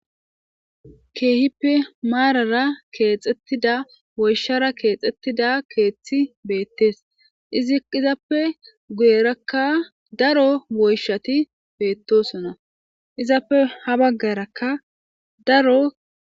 keehippe maarara keexettida woyshara keexettida keeththi beettes iziizappe guyerakka daro woyshati beettosona izappe ha baggarakka daro